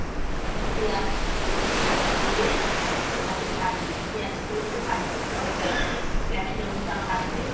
পেঁয়াজ কুঁচি দিয়ে, ওইটাকে ভাজবী পেঁয়াজ গুলোকে ভাজবি tomato টাকে capsicum টা ভাজবি